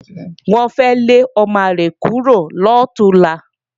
Wọ́n fẹ́ lé ọmọ àlè kúrò lọ̀túnla